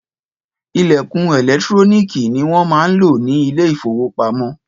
Ìlẹ̀kùn ẹ̀lẹ́tíróníkì ni wọn máa ń lò ni Ilé-ìfowópamó